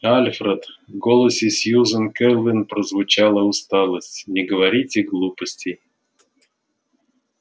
альфред в голосе сьюзен кэлвин прозвучала усталость не говорите глупостей